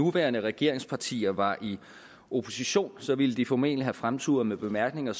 nuværende regeringspartier var i opposition ville de formentlig have fremturet med bemærkninger